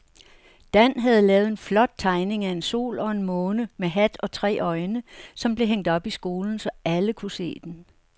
Dan havde lavet en flot tegning af en sol og en måne med hat og tre øjne, som blev hængt op i skolen, så alle kunne se den.